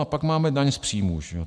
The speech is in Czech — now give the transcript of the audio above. A pak máme daň z příjmu.